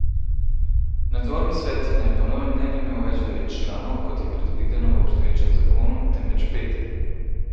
Nadzorni svet naj po novem ne bi imel več devet članov, kot je predvideno v obstoječem zakonu, temveč pet.